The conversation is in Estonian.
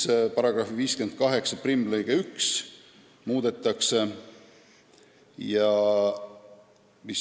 Ka § 581 lõige 1 muudetakse.